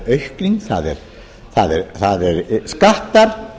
jú það er aukning það eru skattar